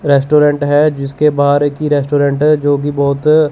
restaurant है जिसके बाहर एक ही रेस्टोरेंट है जो की बहुत --